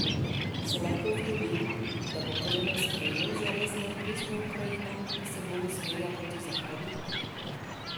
Se lahko zgodi, da bo Kremelj sprejel zares neodvisno Ukrajino, ki se bolj usmerja proti Zahodu?